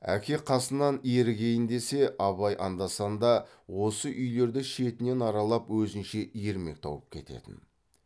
әке қасынан ерігейін десе абай анда санда осы үйлерді шетінен аралап өзінше ермек тауып кететін